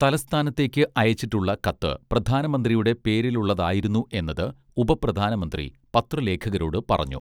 തലസ്ഥാനത്തേക്ക് അയച്ചിട്ടുള്ള കത്ത് പ്രധാനമന്ത്രിയുടെ പേരിലുള്ളതായിരുന്നു എന്നത് ഉപപ്രധാനമന്ത്രി പത്രലേഖകരോട് പറഞ്ഞു